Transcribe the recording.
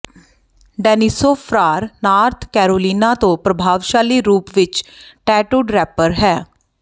ਡੈਨਿਸੋ Farrar North Carolina ਤੋਂ ਪ੍ਰਭਾਵਸ਼ਾਲੀ ਰੂਪ ਵਿਚ ਟੈਟੂਡ ਰੇਪਰ ਹੈ